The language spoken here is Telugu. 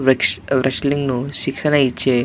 రేస్ రెస్టలింగ్ శిక్షణ ఇచ్చే --